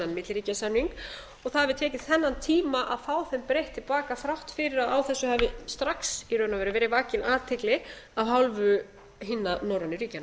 það hafi tekið þennan tíma að fá þeim breytt til baka þrátt fyrir að á þessu hafi strax í raun og veru verið vakin athygli af hálfu hinna norrænu ríkjanna